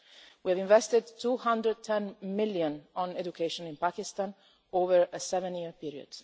We have invested 210 million on education in Pakistan over a seven-year period.